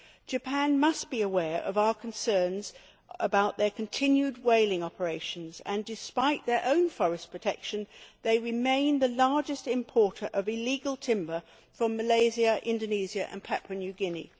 Japan must be aware of our concerns about their continued whaling operations and, despite their own forest protection, they remain the largest importer of illegal timber from Malaysia, Indonesia and Papua New Guinea.